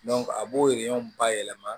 a b'o bayɛlɛma